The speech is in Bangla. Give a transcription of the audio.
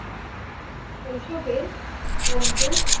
শৈশবে বন্ধু,